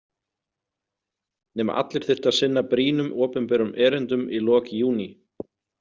Nema allir þyrftu að sinna brýnum opinberum erindum í lok júní.